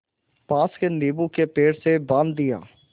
पास के नीबू के पेड़ से बाँध दिया